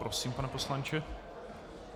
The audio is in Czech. Prosím, pane poslanče.